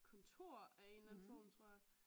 Kontor af en eller anden form tror jeg